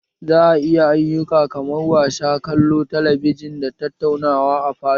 Za a iya ayyuka kaman wasa, kallon talabijin da tattauna a falo